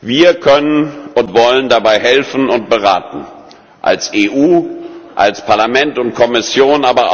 Wir können und wollen dabei helfen und beraten als EU, als Parlament und Kommission.